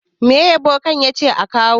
Me bokan ya ce a kawo?